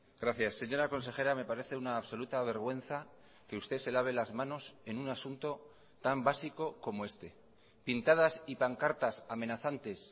gracias señora consejera me parece una absoluta vergüenza que usted se lave las manos en un asunto tan básico como este pintadas y pancartas amenazantes